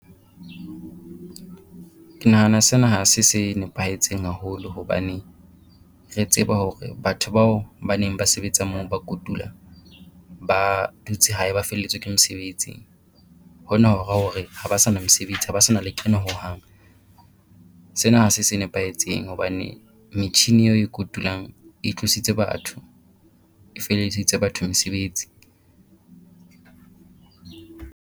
Ke nahana sena ha se se nepahetseng haholo hobane re tseba hore batho bao ba neng ba sebetsa moo ba kotula ba dutse hae ba felletswe ke mosebetsi. Hona ho ra hore ha ba sa na mesebetsi ha ba sa na lekeno hohang. Sena ha se se nepahetseng hobane metjhini eo e kotulang e tlositse batho, e feledisitse batho mesebetsi.